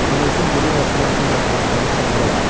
Mən özüm gecə yarısından sonra onu sındıraram.